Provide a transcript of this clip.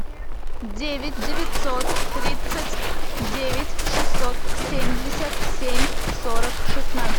девять девятьсот тридцать девять шестьсот семьдесят семь сорок шестнадцать